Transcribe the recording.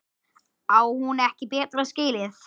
Á hún ekki betra skilið?